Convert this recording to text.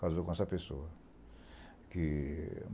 Casou com essa pessoa. Que